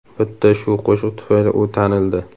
Bitta shu qo‘shiq tufayli u tanildi.